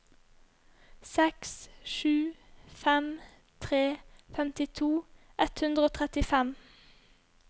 seks sju fem tre femtito ett hundre og trettifem